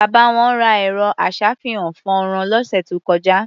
Bàbá wọn ra ẹ̀rọ-aṣàfihàn-fọ́nrán lósù tó kọjá.